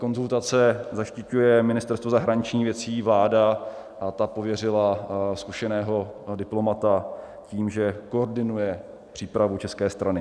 Konzultace zaštiťuje Ministerstvo zahraničních věcí, vláda a ta pověřila zkušeného diplomata tím, že koordinuje přípravu české strany.